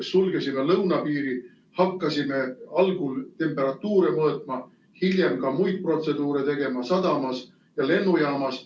Me sulgeme lõunapiiri, hakkasime algul temperatuure mõõtma, hiljem ka muid protseduure tegema sadamas ja lennujaamas.